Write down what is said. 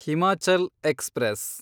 Himachal express